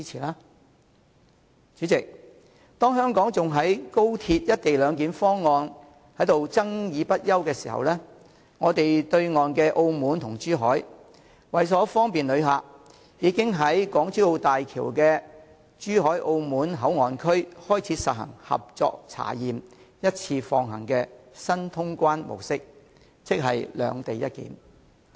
代理主席，當香港還在就高鐵的"一地兩檢"方案爭論不休時，對岸的澳門和珠海，為了方便旅客，已在港珠澳大橋的珠海澳門口岸區開始實施"合作查驗，一次放行"的新通關模式，即"兩地一檢"。